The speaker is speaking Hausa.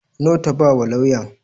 Nawa ta ba wa lauyan?